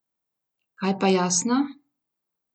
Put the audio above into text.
Kaj pa Jasna?